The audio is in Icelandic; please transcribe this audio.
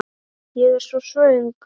Ég er svo svöng.